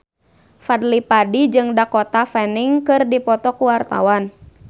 Fadly Padi jeung Dakota Fanning keur dipoto ku wartawan